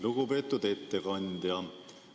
Lugupeetud ettekandja!